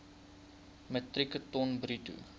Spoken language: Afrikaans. metrieke ton bruto